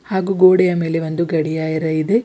ಹಾಗೂ ಗೋಡೆಯ ಮೇಲೆ ಒಂದು ಗಡಿಯಾರ ಇದೆ.